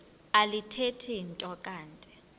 alithethi nto kanti